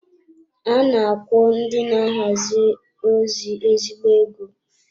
A na-akwụ ndị na-ahazi ozi ezigbo ego.